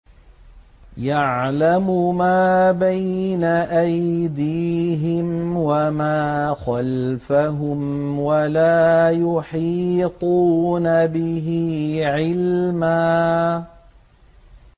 يَعْلَمُ مَا بَيْنَ أَيْدِيهِمْ وَمَا خَلْفَهُمْ وَلَا يُحِيطُونَ بِهِ عِلْمًا